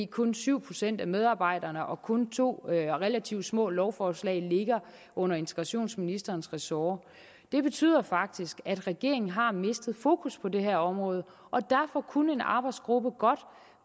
kun syv procent af medarbejderne og kun to relativt små lovforslag ligger under integrationsministerens ressort det betyder faktisk at regeringen har mistet fokus på det her område og derfor kunne en arbejdsgruppe godt